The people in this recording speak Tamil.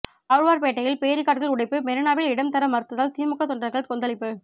ஆழ்வார்பேட்டையில் பேரிகார்டுகள் உடைப்பு மெரினாவில் இடம் தர மறுத்ததால் திமுக தொண்டர்கள் கொந்தளிப்பு